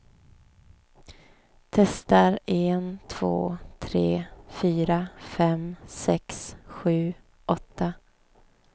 Testar en två tre fyra fem sex sju åtta.